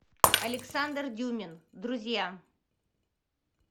александр дюмин друзья